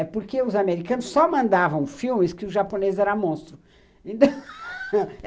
É porque os americanos só mandavam filmes que o japonês era monstro.